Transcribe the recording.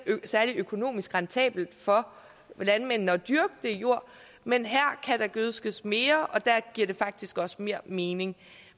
særlig økonomisk rentabelt for landmændene at dyrke den jord men her kan der gødskes mere og der giver det faktisk også mere mening